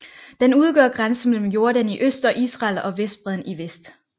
Den udgør grænsen mellem Jordan i øst og Israel og Vestbredden i vest